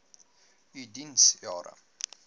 u diens jare